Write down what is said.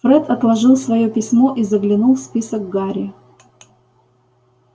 фред отложил своё письмо и заглянул в список гарри